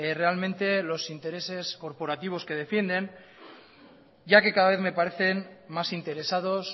realmente los intereses corporativos que defienden ya que cada vez me parecen más interesados